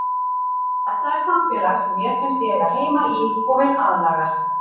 Þetta er samfélag sem mér finnst ég eiga heima í og vil aðlagast.